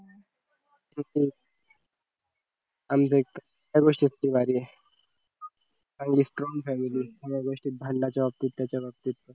आहे आणि या गोष्टीत ती भारी आहे चांगली strong family आहे सगळ्या भांडायचं बाबतीत त्याच्या बाबतीत